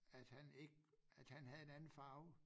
At han ikke at han havde en anden farve